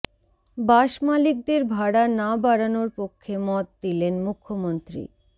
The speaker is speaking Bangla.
বাস মালিকদের ভাড়া না বাড়ানোর পক্ষে মত দিলেন মুখ্যমন্ত্রী